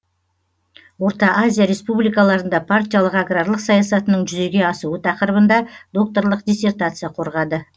орта азия республикаларында партиялық аграрлық саясатының жүзеге асуы тақырыбында докторлық диссертация қорғады